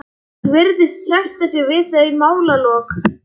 Hún virðist sætta sig við þau málalok.